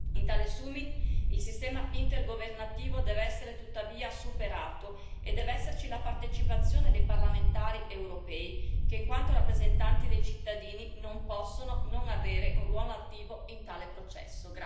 In tale summit il sistema intergovernativo deve essere tuttavia superato e deve esserci la partecipazione dei parlamentari europei che, in quanto rappresentanti dei cittadini, non possono non avere un ruolo attivo in tale processo.